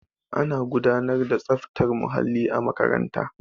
ana gudanar da tsaftar muhalli a makaranta